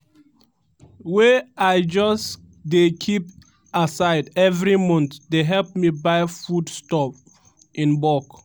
wey i just dey keep aside evri month dey help me buy foodstuff in bulk